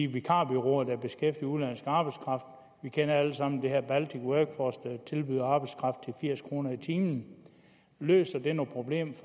vikarbureauer der beskæftiger udenlandsk arbejdskraft vi kender alle sammen baltic workforce der tilbyder arbejdskraft til firs kroner i timen løser det noget problem